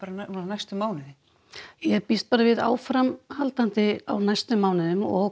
næstu mánuði býst við áframhaldandi á næstu mánuðum og